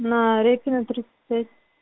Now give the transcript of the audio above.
на репина тридцать пять